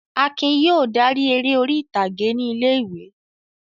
Akin yóò dárí eré orí-ìtàgé ní ilé-ìwé.